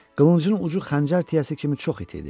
Qılıncın ucu xəncər tiyəsi kimi çox iti idi.